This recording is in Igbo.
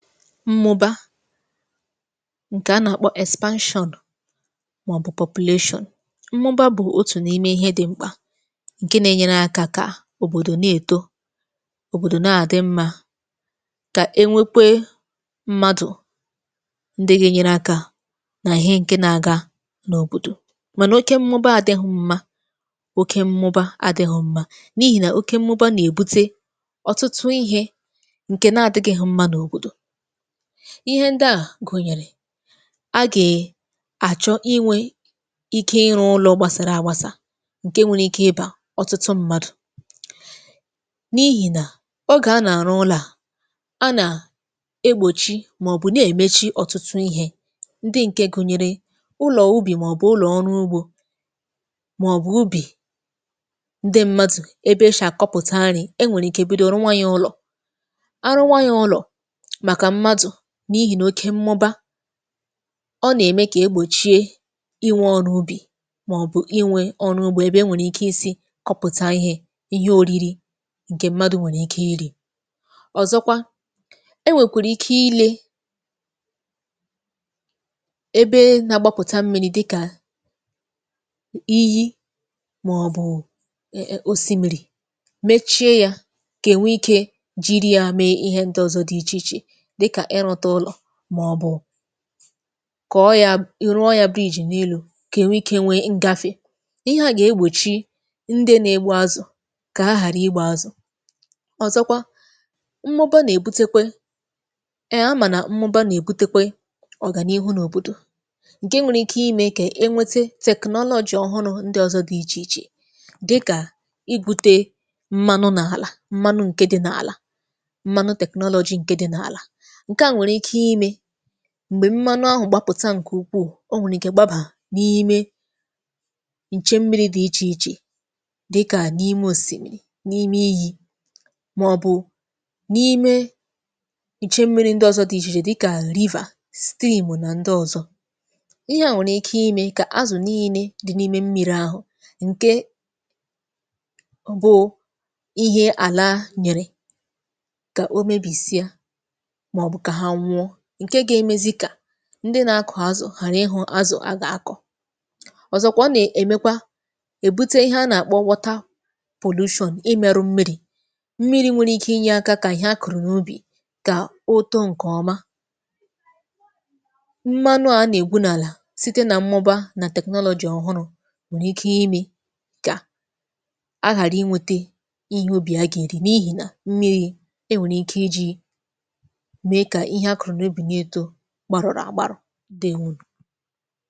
mmụbà ǹkè a nà-àkpọ expanshọn màọbụ̀ populatio mmụbà bụ̀ otù n’ime ihe dị mkpà ǹke na-enyere akȧ kà òbòdò na-èto òbòdò na-àdị mmȧ kà enwekwe mmadù ndị gȧ-ènyere akȧ nà ihe ǹkè na-àga n’òbòdò mànà oke mmụbà adị̇ghị̇ mmȧ oke mmụbà adị̇ghị̇ mmȧ n’ihì nà oke mmụbà nà-èbute ọtụtụ ihė ǹkè na-àdịghị̇ mmȧ n’òbòdò ihe ndi à gụ̀nyèrè agè achọ inwė ike ịrụ̇ ụlọ gbasara àgbasà ǹke nwere ike ịbȧ ọtụtụ ṁmȧdụ̀ n’ihì nà ogè a nà-arụ ụlọ̇ à a nà egbòchi màọbụ̀ na-èmechi ọ̀tụtụ ihė ndị ǹke gụ̀nyere ụlọ̀ ubì màọbụ̀ ụlọ̀ ọrụ ugbȯ màọbụ̀ ubì ndị ṁmȧdụ̀ ebe ịchà kọpụ̀tarì e nwèrè ike bụdị ụlọ̀ nwayọ̀ ụlọ̀ arụ nwayọ̀ ụlọ̀ ǹke m̀madụ̀ n’ihì n’oke mmụbà ọ nà-ème kà egbòchie inwe ọrụ ubì màọ̀bụ̀ inwe ọrụ ubì ebe e nwèrè ike isi̇ kọpụ̀ta ihė ihe ȯriri ǹkè m̀madụ̇ nwèrè ike iri̇ ọ̀zọkwa e nwèkwèrè ike ile ebe nȧ-agbapụ̀ta mmìrì dịkà iyi màọ̀bụ̀ osimmiri mechie ya kà enwe ike jiri yȧ mee ihe ndị ọ̀zọ dị ichè ichè kà ọ yȧ irụọ yȧ britain n’elu̇ kà ènwe ikė nwė ǹgafe ihe à gà-ègbòchi ndị nȧ-ėgbụ̇ azụ̀ kà hàrà igbȧ azụ̀ ọ̀zọkwa mmụbà nà-èbutekwe emà nà mmụbà nà-èbutekwe ọ̀gànihu n’òbòdò ǹke nwere ike imė kà enwete technology ọhụrụ ndị ọzọ dị̀ ichè ichè dịkà igwute mmanụ n’àlà mmanụ ǹke dị̇ n’àlà ǹgwè mmanụ ahụ̀ gbapụ̀ta ǹkè ukwuù o nwèrè ǹkè gbaba n’ime ǹche mmìrì dị ichè ichè dịkà n’ime òsìmìrì n’ime iyi̇ mọ̀bụ̀ n’ime ǹche mmìrì ndị ọ̀zọ dị ichè ichè dịkà liva steepà nà ndị ọ̀zọ ihe à nwèrè ike imė kà azụ̀ niine dị n’ime mmìrì̇ ahụ̀ ǹke ọ̀bụ̀ ihe àla nyèrè ndị nȧ-akọ̀ azụ̀ hàrị ịhụ̇ azụ̀ a gà-akọ̀ ọ̀zọkwa nà-èmekwa èbute ihe a nà-àkpọ wọta pòlushọn ịmi̇ arụ mmìrì mmìrì nwere ike inye aka kà ihe akụ̀rụ̀ n’ubì kà otȯ ǹkèọma mmanụ a nà-ègbu n’àlà site nà mmọba nà technology ọ̀hụrụ nwère ike imi̇ gà aghàra iwete ihe ubì a gà-èri n’ihi nà mmìrì e nwèrè ike iji̇ gbàrụ̀rụ̀ àgbàrụ̀ dị nwụnụ